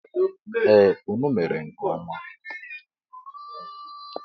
E, unu mere nke ọma.